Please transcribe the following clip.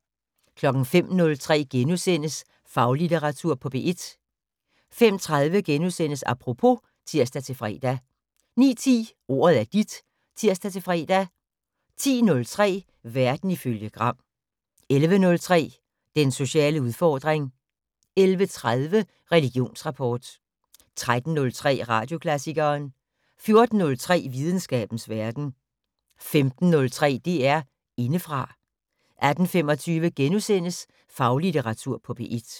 05:03: Faglitteratur på P1 * 05:30: Apropos *(tir-fre) 09:10: Ordet er dit (tir-fre) 10:03: Verden ifølge Gram 11:03: Den sociale udfordring 11:30: Religionsrapport 13:03: Radioklassikeren 14:03: Videnskabens Verden 15:03: DR Indefra 18:25: Faglitteratur på P1 *